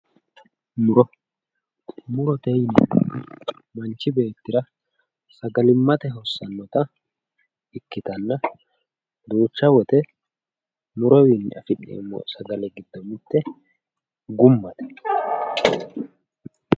muro murote yinayiiti manchi beettira sagalimmate hossannota ikkitanna duucha woyiite murotewiinni afi'neemmoti sagale laalote